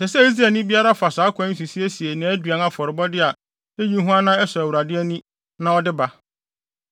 “ ‘Ɛsɛ sɛ Israelni biara fa saa ɔkwan yi so siesie ne aduan afɔrebɔ a eyi hua na ɛsɔ Awurade ani na ɔde ba.